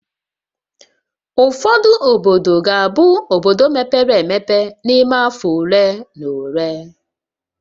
Ụfọdụ obodo ga-abụ obodo mepere emepe n'ime afọ ole na ole